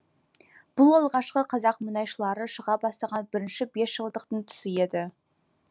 бұл алғашқы қазақ мұнайшылары шыға бастаған бірінші бесжылдықтың тұсы еді